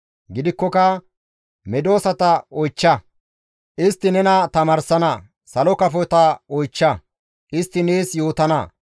«Gidikkoka medosata oychcha; istti nena tamaarsana; salo kafota oychcha; istti nees yootana.